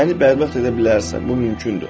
Məni bərbad edə bilərsən, bu mümkündür.